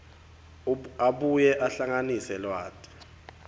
abuye ahlanganise lwati